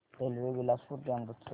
railway Bilaspur ते अमृतसर